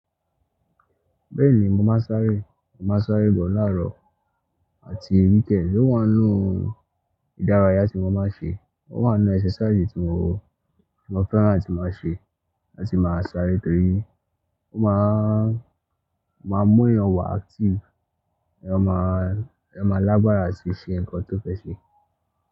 Bẹ́ẹ̀ni mo máa ń sáré, mo máa ń sáré but láàárọ̀ àti weekend. Ó wà nínú ìdárayá tí mo máa ń ṣe, ó wà nínú exercise tí mo, tí mo fẹ́ràn àti máa ṣe láti máa sáré torí ó máa ń, máa ń mú ẹyàn wà active, ẹyàn máa, ẹyàn máa lágbára láti ṣe nǹkan tó fẹ́ ṣe.